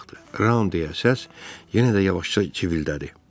"Ram," deyə səs yenə də yavaşca civildədi.